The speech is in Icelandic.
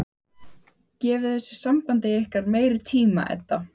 Gefið þessu sambandi ykkar meiri tíma, Edda.